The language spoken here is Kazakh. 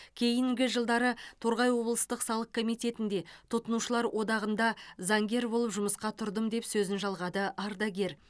кейінгі жылдары торғай облыстық салық комитетінде тұтынушылар одағында заңгер болып жұмысқа тұрдым деп сөзін жалғады ардагер